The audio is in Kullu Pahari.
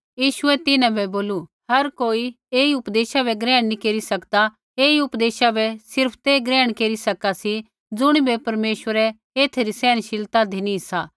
यीशुऐ तिन्हां बै बोलू हर कोई ऐई उपदेशा बै ग्रहण नी केरी सकदा ऐई उपदेशा बै सिर्फ़ ते ग्रहण केरी सका सी ज़ुणिबै परमेश्वरै एथै री सहनशक्ति धिनी सा